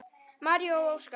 María og Óskar.